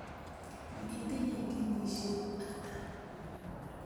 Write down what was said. Itinye kenyisyek ata?